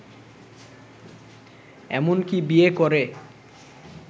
এমনকি বিয়ে করে